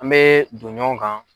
An mɛ don ɲɔgɔn kan.